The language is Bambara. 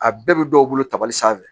A bɛɛ bɛ dɔw bolo tabali sanfɛ